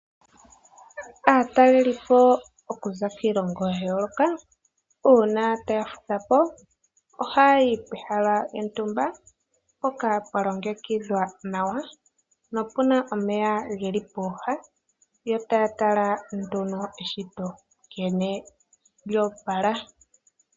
Aatalelipo okuza kiilongo ya yooloka uuna taya fudha po ohaya yi pehala lyontumba mpoka pwa longekidhwa nawa, nopu na omeya geli pooha. Yo taya tala nduno eshito nkene lya opala.